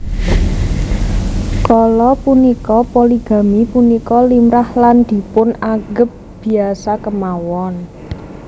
Kala punika poligami punika limrah lan dipun anggep biasa kémawon